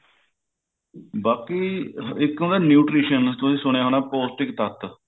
ਬਾਕੀ ਇੱਕ ਹੁੰਦਾ nutrition ਤੁਸੀਂ ਸੁਣਿਆ ਹੋਊ ਪੋਸਟਿਕ ਤੱਤ